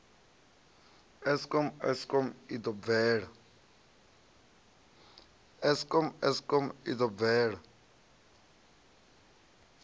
eskom eskom i ḓo bvela